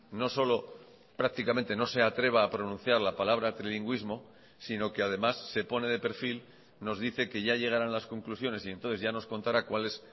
no solo prácticamente no se atreva a pronunciar la palabra trilingüismo sino que además se pone de perfil nos dice que ya llegarán las conclusiones y entonces ya nos contará cuál es